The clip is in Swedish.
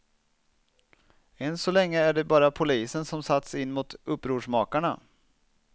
Än så länge är det bara polisen som satts in mot upprorsmakarna.